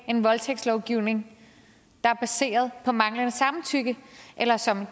en voldtægtslovgivning der er baseret på manglende samtykke eller som